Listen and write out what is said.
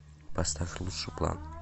поставь лучший план